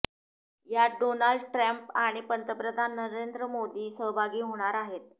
यात Donald Trump आणि पंतप्रधान नरेंद्र मोदी सहभागी होणार आहेत